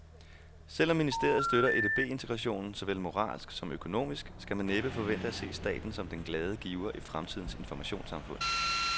Selv om ministeriet støtter EDB integrationen såvel moralsk som økonomisk, skal man næppe forvente at se staten som den glade giver i fremtidens informationssamfund.